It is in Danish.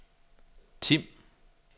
Tim